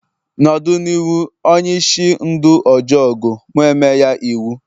nọdu l'iwhu onye-ishi ndu ojọgu, mu e-me ya iwu